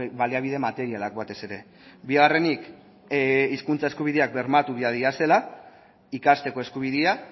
baliabide materialak batez ere bigarrenik hizkuntza eskubideak bermatu behar direla ikasteko eskubidea